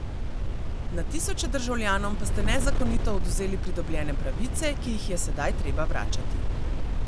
Na tisoče državljanom pa ste nezakonito odvzeli pridobljene pravice, ki jih je sedaj treba vračati.